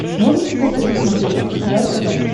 можешь показать на смотрешке кхл тв